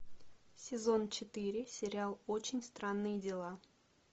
сезон четыре сериал очень странные дела